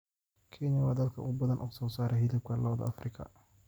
Kenya waa dalka ugu badan ee soo saara hilibka lo'da Afrika.